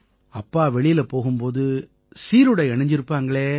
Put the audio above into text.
அப்பா வெளியில போகும் போது சீருடை அணிஞ்சிருப்பாங்களே